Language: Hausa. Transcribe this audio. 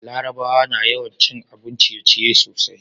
larabawa na yawan cin abun ciye ciye sosai